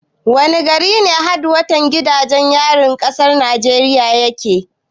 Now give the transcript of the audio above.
Wani gari ne hedkwatan gidajen yarin kasar Najeriya yake?